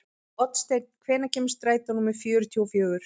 Oddsteinn, hvenær kemur strætó númer fjörutíu og fjögur?